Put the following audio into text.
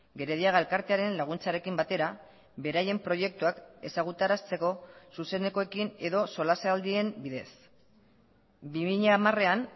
gerediaga elkartearen laguntzarekin batera beraien proiektuak ezagutarazteko zuzenekoekin edo solasaldien bidez bi mila hamarean